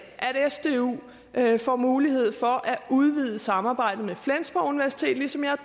at sdu får mulighed for at udvide samarbejdet med flensborg universitet ligesom jeg